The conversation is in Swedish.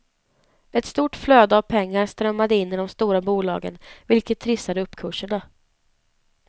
Ett stort flöde av pengar strömmade in i de stora bolagen vilket trissade uppkurserna.